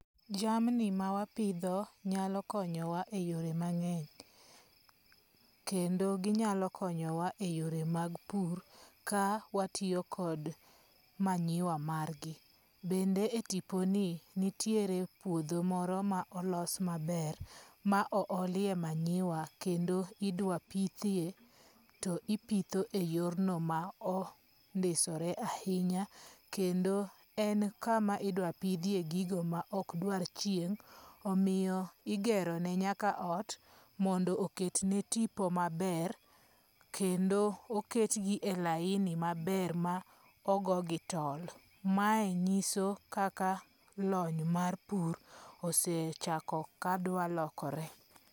Jamni ma wapidho nyalo konyowa e yore mangeny. Kendo ginyalo konyowa e yore mag pur ka watiyo kod manyiwa margi. Bende e tipo ni nitiere puodho moro ma olos maber ma o olie manyiwa kendo idwa pithie to ipitho e yorno ma ondisore ahinya. Kendo en kama idwa pidhie gigo ma ok dwar chieng' omiyo igero ne nyaka ot mondo oket ne tipo maber kendo oket gi e laini maber ma ogo gi tol. Mae nyiso kaka lony mar pur osechako kadwa lokore.